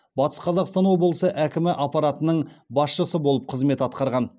батыс қазақстан облысы әкімі аппаратының басшысы болып қызмет атқарған